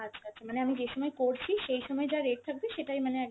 আচ্ছা আচ্ছা মানে আমি যেই সময় করছি সেই সময় যা rate থাকবে সেটাই মানে